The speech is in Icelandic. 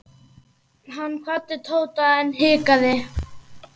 Hann kvaddi Tóta en hikaði.